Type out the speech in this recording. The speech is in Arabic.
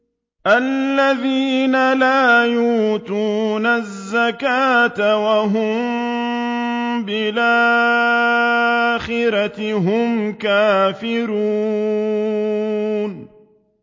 الَّذِينَ لَا يُؤْتُونَ الزَّكَاةَ وَهُم بِالْآخِرَةِ هُمْ كَافِرُونَ